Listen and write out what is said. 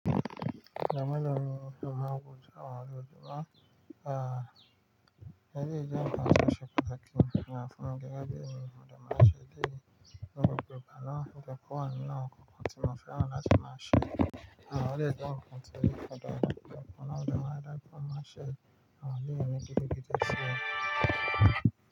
Òdò máa lọ nu, òdò máa gùn, àwọn òdò máa, ah, ẹlè yí jẹ́ nǹkan to ṣe pataki nìkan fún ọkẹ́, ẹ ga diẹ nìyẹn, mò dè máa sè dìe ni òpò igba náà, òyè ko wa ni nu awòn kò kàn tí mo fẹ́ran láti máa ṣe. Àwọn ọ̀rẹ́ jẹ́ nǹkan tí yóò fọdán kùnà, òdò máa dára pọ̀ máa ṣe. Àwọn ilé ẹni gidi gidi ṣe.